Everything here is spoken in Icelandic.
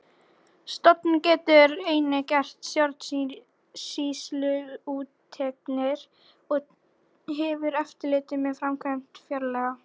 Stofnunin getur einnig gert stjórnsýsluúttektir og hefur eftirlit með framkvæmd fjárlaga.